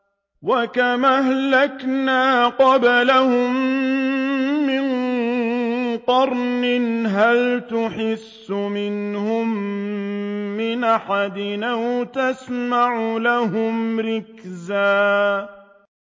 وَكَمْ أَهْلَكْنَا قَبْلَهُم مِّن قَرْنٍ هَلْ تُحِسُّ مِنْهُم مِّنْ أَحَدٍ أَوْ تَسْمَعُ لَهُمْ رِكْزًا